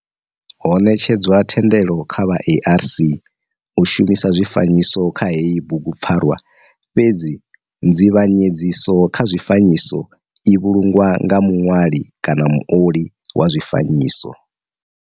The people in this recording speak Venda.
Ho netshedzwa thendelo kha vha ARC u shumisa zwifanyiso kha heyi bugupfarwa fhedzi nzivhanyedziso kha zwifanyiso i vhulungwa nga muṋwali kana muoli wa zwifanyiso.